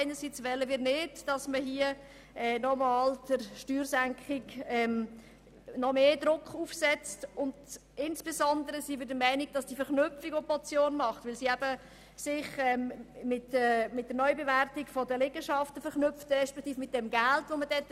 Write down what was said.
Einerseits wollen wir nicht, dass man nochmals Druck für eine Steuersenkung aufsetzt, und andererseits sind wir der Meinung, dass die Verknüpfung mit der Neubewertung der Liegenschaften nicht sinnvoll ist.